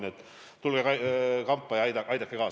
Nii et tulge kampa ja aidake kaasa!